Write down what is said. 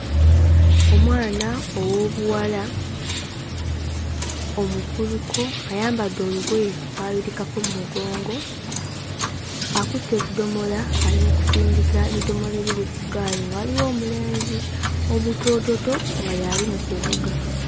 Omwana ow'obuwala omukuluko ayambadde olugoye olwayulikako mu mugongo. Akutte ekidomola ali mu kusindika bidomola ebiri ku ggaali, nga waliwo omulenzi omutoototo nga y'ali mu kuvuga.